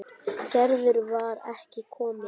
Gerður var ekki komin.